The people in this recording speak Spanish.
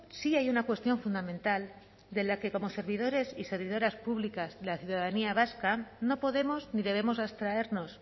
sí hay una cuestión fundamental de la que como servidores y servidoras públicas de la ciudadanía vasca no podemos ni debemos abstraernos